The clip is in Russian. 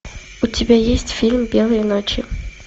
у тебя есть фильм белые ночи